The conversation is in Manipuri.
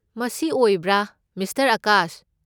ꯃꯁꯤ ꯑꯣꯏꯕ꯭ꯔꯥ, ꯃꯤꯁꯇꯔ ꯑꯥꯀꯥꯁ?